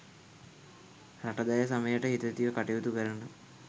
රට දැය සමයට හිතැතිව කටයුතු කරන